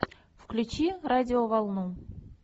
включи радиоволну